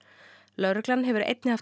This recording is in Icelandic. lögregla hefur einnig haft